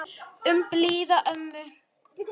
Um blíða ömmu.